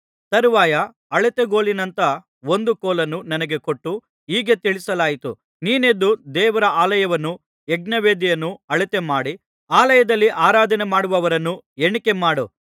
ತರುವಾಯ ಅಳತೆಗೊಲಿನಂಥ ಒಂದು ಕೋಲನ್ನು ನನಗೆ ಕೊಟ್ಟು ಹೀಗೆ ತಿಳಿಸಲಾಯಿತು ನೀನೆದ್ದು ದೇವರ ಆಲಯವನ್ನೂ ಯಜ್ಞವೇದಿಯನ್ನೂ ಅಳತೆಮಾಡಿ ಆಲಯದಲ್ಲಿ ಆರಾಧನೆಮಾಡುವವರನ್ನು ಎಣಿಕೆಮಾಡು